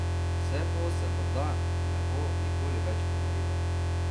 Vse to se morda ne bo nikoli več ponovilo.